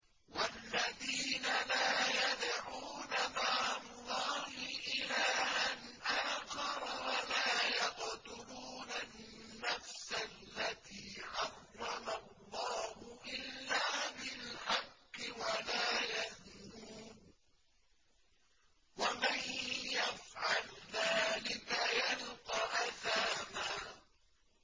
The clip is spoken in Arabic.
وَالَّذِينَ لَا يَدْعُونَ مَعَ اللَّهِ إِلَٰهًا آخَرَ وَلَا يَقْتُلُونَ النَّفْسَ الَّتِي حَرَّمَ اللَّهُ إِلَّا بِالْحَقِّ وَلَا يَزْنُونَ ۚ وَمَن يَفْعَلْ ذَٰلِكَ يَلْقَ أَثَامًا